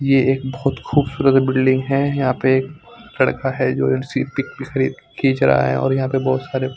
ये एक बहोत खुबसूरत बिल्डिंग है यहाँ पे कर रखा है जो एक सी पिक खीच रहा है और यहाँ पे बोहोत सारे --